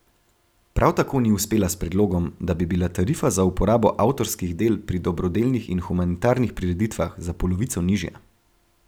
Prav tako ni uspela s predlogom, da bi bila tarifa za uporabo avtorskih del pri dobrodelnih in humanitarnih prireditvah za polovico nižja.